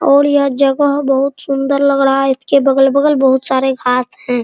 और यह जगह बहुत सुन्दर लग रहा है इसके बगल-बगल बहुत सारे घास है।